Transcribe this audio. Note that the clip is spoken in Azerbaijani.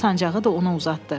Sancağı da ona uzatdı.